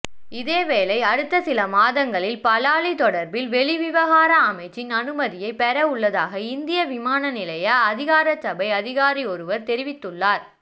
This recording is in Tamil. இதேவேளை அடுத்த சில மாதங்களில் பலாலி தொடர்பில் வெளிவிவகார அமைச்சின் அனுமதியை பெறஉள்ளதாக இந்திய விமானநிலைய அதிகாரசபை அதிகாரியொருவர் தெரிவித்துள்ளார்